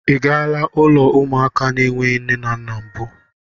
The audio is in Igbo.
Ị gaala ụlọ ụmụaka na-enweghị nne na mbụ?